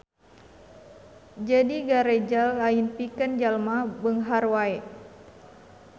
Jadi Gareja lain pikeun jalma beunghar wae.